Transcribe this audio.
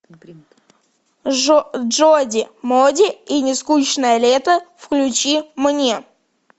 джоди моди и нескучное лето включи мне